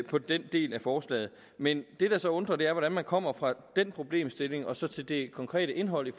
på den del af forslaget men det der så undrer er hvordan man kommer fra den problemstilling og så til det konkrete indhold i